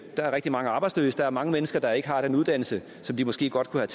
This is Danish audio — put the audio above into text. er rigtig mange arbejdsløse der er mange mennesker der ikke har den uddannelse som de måske godt kunne